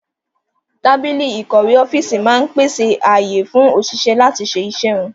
Tábìlì ìkọ̀wé ọ́fíìsì máa ń pèsè ààyè fún òṣìṣẹ́ láti lè ṣe iṣẹ́ wọn